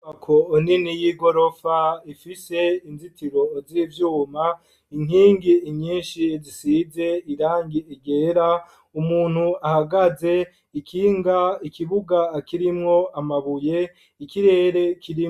Ako oneni y'i gorofa ifise inzitiro oziivyuma inkingi inyinshi zisize irangi egera ,umuntu ahagaze ikinga ikibuga akirimwo amabuye ikirere kirimwo.